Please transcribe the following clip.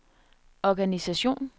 organisation